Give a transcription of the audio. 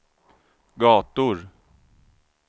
gator